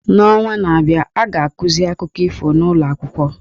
N’ọnwa na-abịa, a ga-akụzi akụkọ ifo n’ụlọ akwụkwọ.